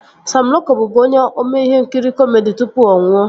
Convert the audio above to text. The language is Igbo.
Sam Loko bụbu onye ome ihe nkiri kọmedi tụpụ ọ nwụọ